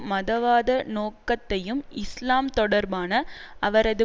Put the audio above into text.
மதவாத நோக்கத்தையும் இஸ்லாம் தொடர்பான அவரது